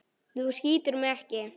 Þú skýtur mig ekki.